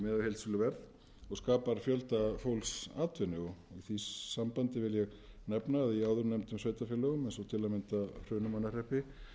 heildsöluverð og skapar fjölda fólks atvinnu í því sambandi vil ég nefna að í áðurnefndum eins og til að mynd hrunamannahreppi